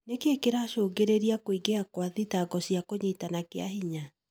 Nĩkĩ kĩracũngĩrĩria kũingĩha gwa thitango cia ũnyitani kĩahinya?